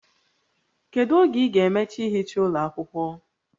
Kedu oge ị ga-emecha ihicha ụlọ akwụkwọ?